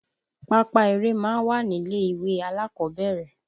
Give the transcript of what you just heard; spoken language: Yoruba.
Pápá eré máa ń wà nílé ìwé alákọ̀ọ́bẹ̀rẹ̀